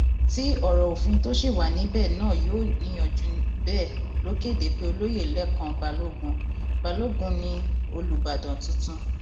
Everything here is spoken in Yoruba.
tí ọrọ òfin tó ṣì wà níbẹ náà yóò níyanjú bẹẹ ló kéde pé olóyè lẹkàn balógun balógun ni olùbàdàn tuntun